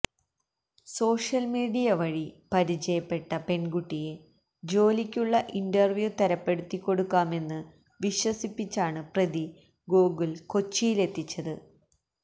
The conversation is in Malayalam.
സോഷ്യല് മീഡിയ വഴി പരിചയപ്പെട്ട പെണ്കുട്ടിയെ ജോലിക്കുള്ള ഇന്റര്വ്യൂ തരപ്പെടുത്തികൊടുക്കാമെന്ന് വിശ്വസിപ്പിച്ചാണ് പ്രതി ഗോകുല് കൊച്ചിയിലെത്തിച്ചത്